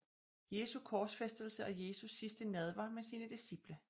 Jesu korsfæstelse og Jesu sidste nadver med sine disciple